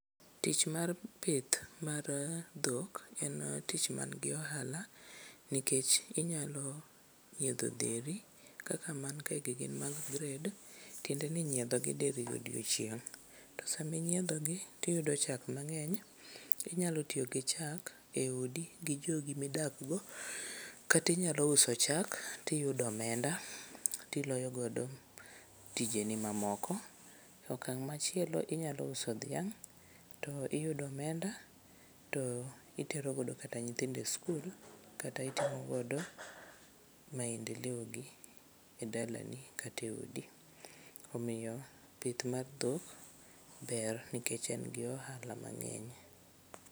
Tich mar pith mar dhok en tich mangi ohala nikech inyalo nyiedho dheri kaka mankae gi gin mag gred tiende ni inyiedhogi diriyo e odiechieng'. To sami inyiedhogi yiyudo chak mang'eny. Inyalo tiyo gi chak e odi gi jogi midakgo kata inyalo uso chak tiyudo omenda tiloyogodo tijeni mamoko. Okang' machielo inyalo uso dhiang' to iyudo omenda to iterogodo kata nyithindo e skul kata imtimogodo maendeleogi e dalani kata e odi. Omiyo pith mar dhok ber nikech en gi ohala mang'eny.